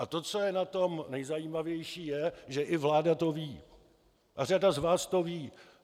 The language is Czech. A to, co je na tom nejzajímavější, je, že i vláda to ví a řada z vás to ví.